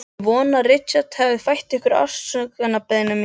Ég vona að Richard hafi fært yður afsökunarbeiðni mína.